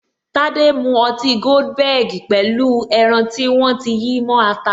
Tade mu ọtí goldenberg pẹ̀lú pẹlu ẹran tí wọ́n ti yí mó ata